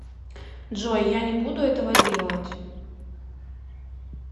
джой я не буду этого делать